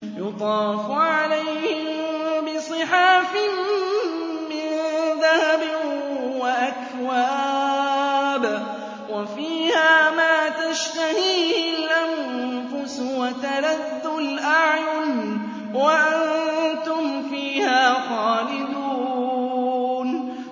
يُطَافُ عَلَيْهِم بِصِحَافٍ مِّن ذَهَبٍ وَأَكْوَابٍ ۖ وَفِيهَا مَا تَشْتَهِيهِ الْأَنفُسُ وَتَلَذُّ الْأَعْيُنُ ۖ وَأَنتُمْ فِيهَا خَالِدُونَ